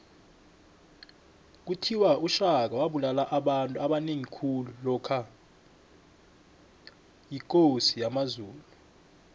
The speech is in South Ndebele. kuthiwa ushaka wabulala abantu abanengi khulu lokha yikosi yamazulu